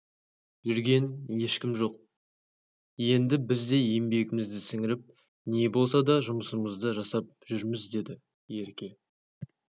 жүрген ешкім жоқ енді біз де еңбегімізді сіңіріп не болса да жұмысымызды жасап жүрміз дедіерке